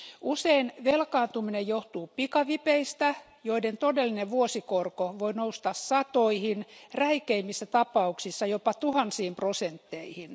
Usein velkaantuminen johtuu pikavipeistä, joiden todellinen vuosikorko voi nousta satoihin, räikeimmissä tapauksissa jopa tuhansiin prosentteihin.